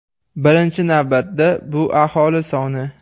Birinchi navbatda, bu aholi soni.